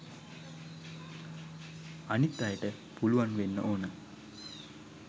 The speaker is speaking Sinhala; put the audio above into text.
අනිත් අයට පුළුවන් වෙන්න ඕන